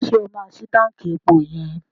Ṣé o máa ṣi táǹkì epo yẹn?